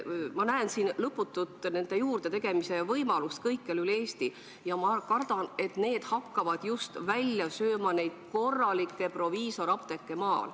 Ma näen siin nende lõputu juurdetegemise võimalust kõikjal üle Eesti ja ma kardan, et need hakkavad välja sööma just neid maal asuvaid korralikke proviisorapteeke.